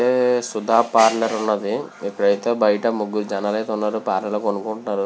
Sudha parlour వున్నది ఇక్కడ అయతె బయట ముగ్రురు జనాలు అయితే వున్నారు పార్లర్ లో కొనుకుంటున్నారు.